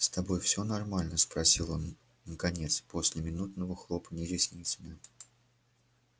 с тобой всё нормально спросил он наконец после минутного хлопанья ресницами